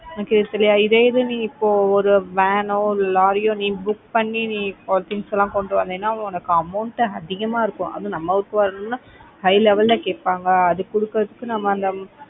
okay சரியா இதே இது இப்போ நீ ஒரு van or lorry யோ நீ book பண்ணி நீ things எல்லாம் கொண்டு வந்தேன்னா உனக்கு amount அதிகமா இருக்கும் அதுவும் நம்ம ஊருக்கு வரணும்னா high level அ கேட்பாங்க அது கொடுக்குறதுக்கு நம்ம அந்த